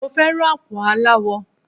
Mo fẹ́ràn àpò aláwọ.